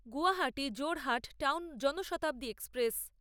Guwahati Jorhat town Janshatabdi express